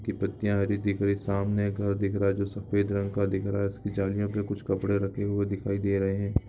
की पत्तिया हरी दिख रही है सामने एक घर दिख रहा है जो सफेद रंग का दिख रहा है उसकी जालियो पे कुछ कपड़े रखे हुए दिखाई दे रहे है।